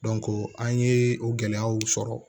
an ye o gɛlɛyaw sɔrɔ